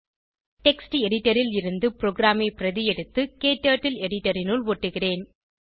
text editor ல் இருந்து ப்ரோகிராமை பிரதி எடுத்து க்டர்ட்டில் எடிட்டர் இனுள் ஒட்டுகிறேன்